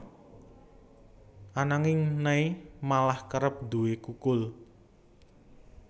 Ananging Nay malah kerep nduwé kukul